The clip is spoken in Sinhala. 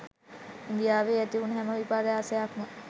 ඉන්දියාවේ ඇතිවුණු හැම විපර්යාසයක් ම